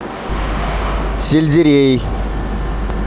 сельдерей